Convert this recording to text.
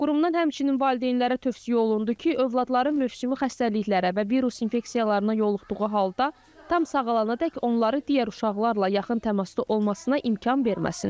Qurumdan həmçinin valideynlərə tövsiyə olundu ki, övladları mövsümi xəstəliklərə və virus infeksiyalarına yoluxduğu halda tam sağalanadək onları digər uşaqlarla yaxın təmasda olmasına imkan verməsinlər.